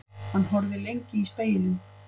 Hann horfði lengi í spegilinn.